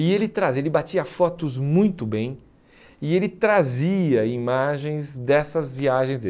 E ele trazia, ele batia fotos muito bem e ele trazia imagens dessas viagens dele.